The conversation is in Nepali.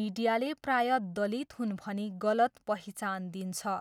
मिडियाले प्रायः दलित हुन् भनी गलत पहिचान दिन्छ।